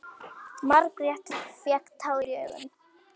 Margrét fékk tár í augun.